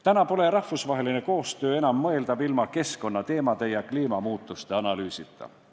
Täna pole rahvusvaheline koostöö enam mõeldav ilma keskkonnateemade ja kliimamuutuste analüüsita.